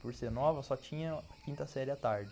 Por ser nova, só tinha a quinta série à tarde.